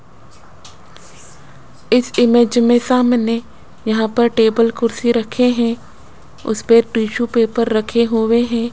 इस इमेज में सामने यहां पर टेबल कुर्सी रखे हैं उस पर टिशू पेपर रखे हुए हैं।